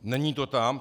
Není to tam.